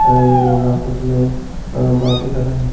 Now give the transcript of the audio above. हैं ये लोग आपस में अं बाते कर रहे हैं।